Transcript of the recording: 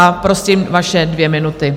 A prosím vaše dvě minuty.